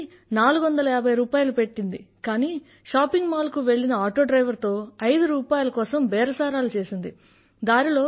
pizza కి 450 రూపాయలు పెట్టింది కానీ షాపింగ్ మాల్ కు వెళ్ళిన ఆటో డ్రైవర్ తో ఐదు రూపాయల కోసం బేరసారాలు చేసింది